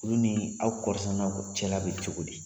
Olu ni aw kɔɔrisɛnɛnaw cɛla bɛ cogo di